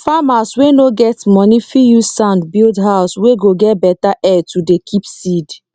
farmers wey no get money fit use sand build house wey go get better air to dey keep seed